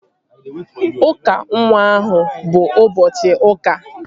Ụka nwa ahụ bụ ụbọchị ụka